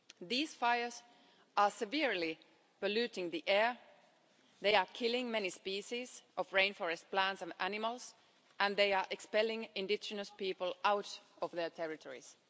These fires are severely polluting the air, they are killing many species of rainforest plants and animals and they are expelling indigenous people out of their territories.